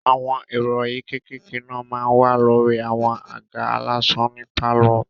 Àwọn ìrọ̀rí kékèké náà máa n wà lórí àwọn àga aláṣọ ní pálọ̀